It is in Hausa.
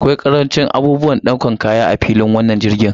Akwai karancin abubuwan ɗaukar kaya a wannan filin jirgin.